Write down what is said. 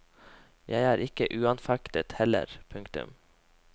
Jeg er ikke uanfektet jeg heller. punktum